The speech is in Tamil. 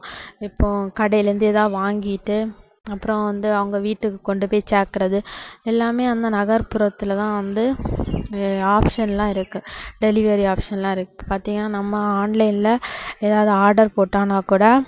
இப்போ கடையில இருந்து ஏதாவது வாங்கிட்டு அப்புறம் வந்து அவங்க வீட்டுக்கு கொண்டுபோய் சேக்குறது எல்லாமே அந்த நகர்புறத்துல தான் வந்து நிறைய option லாம் இருக்கு delivery option லாம் இருக்கு பாத்தீங்கன்னா நம்ம online ல ஏதாவது order போட்டோம்னா கூட